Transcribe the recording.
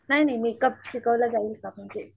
नाही नाही मेकअप शिकवलं जाईल का म्हणजे,